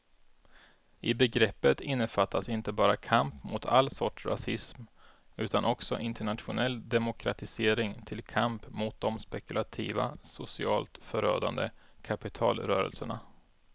I begreppet innefattas inte bara kamp mot all sorts rasism utan också internationell demokratisering till kamp mot de spekulativa, socialt förödande kapitalrörelserna.